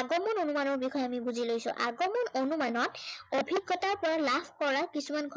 আগমন অনুমানৰ বিষয়ে আমি বুজি লৈছে। আগমন অনুমানত অভিজ্ঞতাৰ পৰা লাভ কৰা কিছুমান কথা